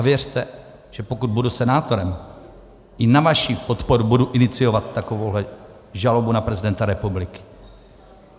A věřte, že pokud budu senátorem, i na vaši podporu budu iniciovat takovouhle žalobu na prezidenta republiky.